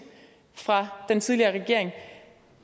fra den tidligere regering